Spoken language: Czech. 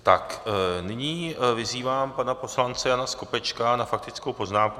Tak nyní vyzývám pana poslance Jana Skopečka na faktickou poznámku.